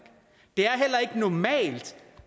det er heller ikke normalt